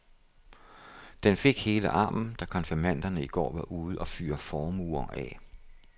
Den fik hele armen, da konfirmanderne i går var ude at fyre formuer af.